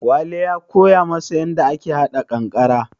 Wale ya koya masa yanda ake haɗa kankare